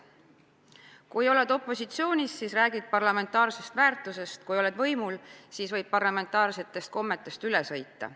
Kui oled opositsioonis, siis räägid parlamentaarsetest väärtustest, kui aga haarad võimu, siis parlamentaarsetest kommetest võib justkui üle sõita.